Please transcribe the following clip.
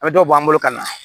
A bɛ dɔ bɔ an bolo ka na